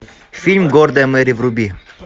фильм гордая мэри вруби